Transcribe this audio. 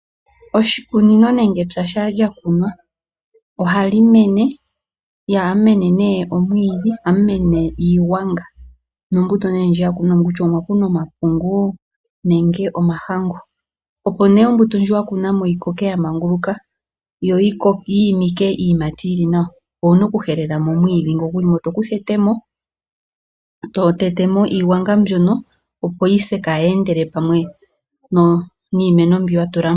Oshikunino nenge epya shampa lya kunwa ohali mene, ihamu mene nee omwiidhi, ohamu mene iigwanga nombuto nee ndji ya kunwa mo kutya omwa kunwa omapungu nenge omahangu. Opo nee ombuto ndji ya kunwa mo yi koke ya manguluka yo yi imike iiyimati yili nawa, owu na oku helela mo omwiidhi ngo gu li mo. To kutha etemo, to tete mo iigwanga mbyono opo yi se kaayi endele niimeno mbyoka wa tula mo.